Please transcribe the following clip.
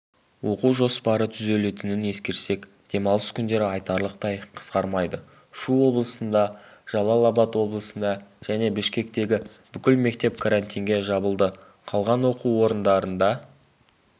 оқу жоспары түзелетінін ескерсек демалыс күндері айтарлықтай қысқармайды шу облысында жалал-абад облысында және бішкектегі бүкіл мектеп карантинге жабылды қалған оқу орындарында